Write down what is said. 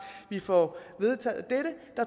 vi får vedtaget dette